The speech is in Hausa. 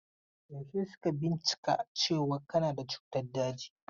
Yaushe suka bincika cewan kana da cutan dajin?